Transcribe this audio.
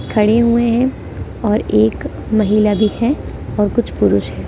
खड़े हुए हैं और एक महिला भी है और कुछ पुरुष हैं ।